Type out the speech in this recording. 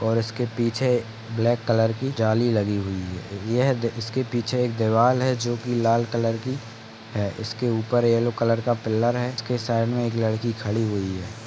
और इसके पीछे ब्लैक कलर की जाली लगी हुई है। यह दे इसके पीछे एक देवाल है जोकि लाल कलर की है। इसके ऊपर येलो कलर का पीलर है उसके साइड मे एक लडकी खड़ी हुई है।